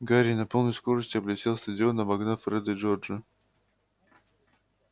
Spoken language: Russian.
гарри на полной скорости облетел стадион обогнав фреда и джорджа